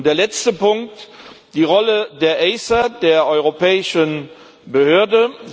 Und der letzte Punkt die Rolle der ACER, der europäischen Behörde.